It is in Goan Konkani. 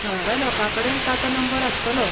थळाव्या लोकांकडेन ताचो नंबर आसतलो.